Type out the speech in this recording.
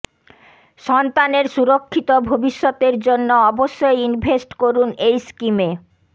সন্তানের সুরক্ষিত ভবিষ্যতের জন্য অবশ্যই ইনভেস্ট করুন এই স্কিমে